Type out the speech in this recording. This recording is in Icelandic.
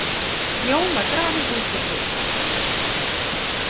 Jón var grafinn út og suður.